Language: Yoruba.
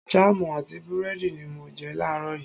Jáàmù àti búrẹ́dì ni mo jẹ láàrọ̀ yìí